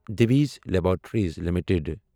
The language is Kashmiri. Divi's laboratories L T D